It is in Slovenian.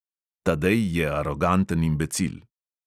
Tadej je aroganten imbecil.